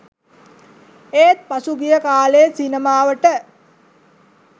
ඒත් පසුගිය කා‍ලේ සිනමාවට